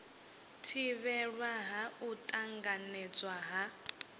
thivhelwa ha u tanganedzwa ha